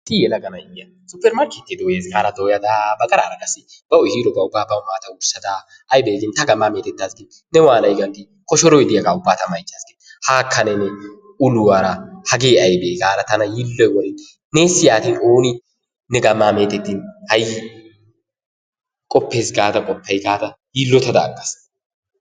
Issi yelaga na'iya suppermarkkettiya dooyayis gaada dooyada a ba qarara qassi bawu ehiiroogaa ubbaa bawu maada wurssada aybee giin ta gammaa meetetaas gin ne waanay giin koshshooroy diyaagaa ubbaa ta mayichchaassi gin haakka ne uluwaara hagee aybee gaada tana yiilloy woriin nessi yaatin ooni ne gamma meetettiin qoppees gaada qoppay gaada yiillottada aggaasi.